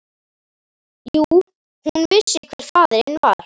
Jú, hún vissi hver faðirinn var.